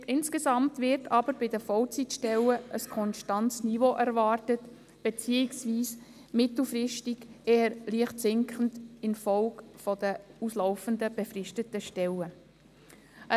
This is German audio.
Insgesamt wird aber bei den Vollzeitstellen ein konstantes beziehungsweise mittelfristig infolge der auslaufenden befristeten Stellen ein eher leicht sinkendes Niveau erwartet.